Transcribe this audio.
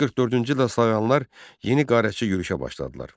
944-cü ildə slavyanlar yeni qarətçi yürüşə başladılar.